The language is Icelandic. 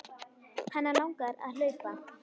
Hana langar að hlaupa.